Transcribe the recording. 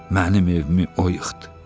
Mənim evimi o yıxdı.